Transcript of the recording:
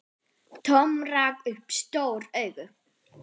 Tom rak upp stór augu.